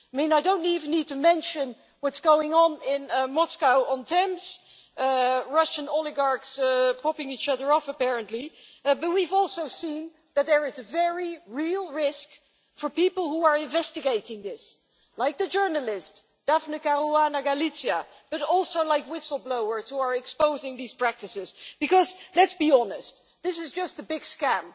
I don't even need to mention what's going on in Moscow-on-Thames, where Russian oligarchs are bumping each other off apparently, but we've also seen that there is a very real risk for people who are investigating this, like the journalist Daphne Caruana Galizia, and also like whistle-blowers who are exposing these practices, because let's be honest this is just a big scam.